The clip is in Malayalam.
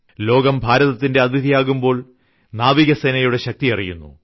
ലോകം ഭാരതത്തിന്റെ അതിഥി ആകുമ്പോൾ നാവികസേനയുടെ ശക്തി അറിയുന്നു